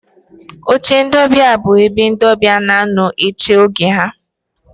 Oche ndị ọbịa bụ ebe ndị ọbịa na-anọ eche oge ha.